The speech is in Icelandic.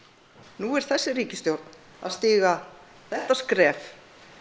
nú er þessi ríkisstjórn að stíga þetta skref